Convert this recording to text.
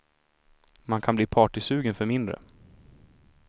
Man kan bli partysugen för mindre.